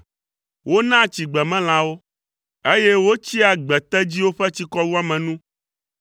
Wonaa tsi gbemelãwo, eye wotsia gbetedziwo ƒe tsikɔwuame nu.